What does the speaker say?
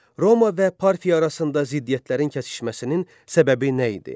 Roma və Parfiya arasında ziddiyyətlərin kəsişməsinin səbəbi nə idi?